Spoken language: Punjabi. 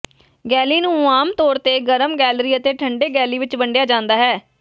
ਗੈਲੀ ਨੂੰ ਆਮ ਤੌਰ ਤੇ ਗਰਮ ਗੈਲਰੀ ਅਤੇ ਠੰਡੇ ਗੈਲੀ ਵਿਚ ਵੰਡਿਆ ਜਾਂਦਾ ਹੈ